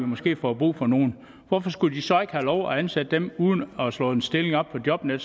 måske får brug for nogle hvorfor skulle de så ikke have lov til at ansætte dem uden at slå en stilling op på jobnet